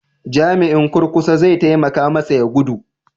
Jami'in kurkusa zai taimaka masa ya gudu?